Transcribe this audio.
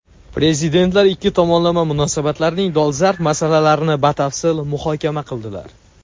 Prezidentlar ikki tomonlama munosabatlarning dolzarb masalalarini batafsil muhokama qildilar.